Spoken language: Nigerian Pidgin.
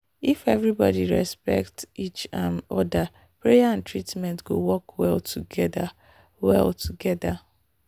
if everybody respect each um other prayer and treatment go work well together. well together.